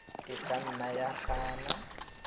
e ka nna ya gana